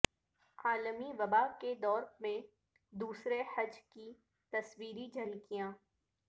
عالمی وبا کے دور میں دوسرے حج کی تصویری جھلکیاں